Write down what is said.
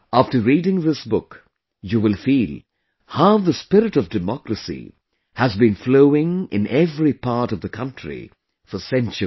After reading this book, you will feel how the spirit of democracy has been flowing in every part of the country for centuries